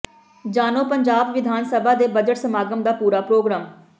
ਜਾਣੋ ਪੰਜਾਬ ਵਿਧਾਨ ਸਭਾ ਦੇ ਬਜਟ ਸਮਾਗਮ ਦਾ ਪੂਰਾ ਪ੍ਰੋਗਰਾਮ